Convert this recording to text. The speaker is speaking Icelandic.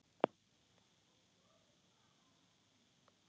Hér þekkti hann hverja fjöl.